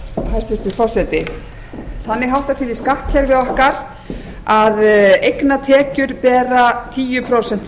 hæstvirtur forseti þannig háttar til í skattkerfi okkar að eignatekjur bera tíu prósent